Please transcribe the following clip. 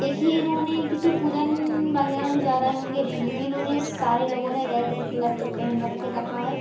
देखिए इन्होने किसी पूजन वैगरह मे जा रहे होंगे रेली में इन्होंने सारे लोगों ने रेड रेड कलर का पहन रखे रखा है।